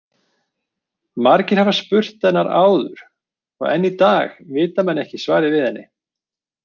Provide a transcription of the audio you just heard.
Margir hafa spurt hennar áður og enn í dag vita menn ekki svarið við henni.